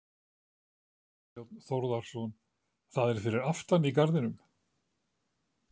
Þorbjörn Þórðarson: Það er fyrir aftan í garðinum?